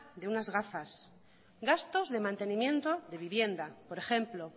de unas gafas gastos de mantenimiento de vivienda por ejemplo